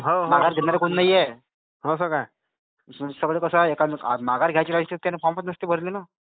सरपंचसाठी सहा सैट लोक आहे हो, हो. हे तर आहेच. माघार घ्यायची शक्यता काही संपत नसते ना.